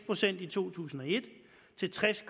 procent i to tusind og et til tres